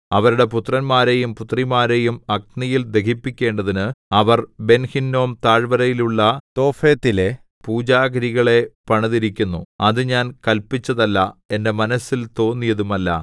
അവരുടെ പുത്രന്മാരെയും പുത്രിമാരെയും അഗ്നിയിൽ ദഹിപ്പിക്കേണ്ടതിന് അവർ ബെൻഹിന്നോം താഴ്വരയിലുള്ള തോഫെത്തിലെ പൂജാഗിരികളെ പണിതിരിക്കുന്നു അത് ഞാൻ കല്പിച്ചതല്ല എന്റെ മനസ്സിൽ തോന്നിയതുമല്ല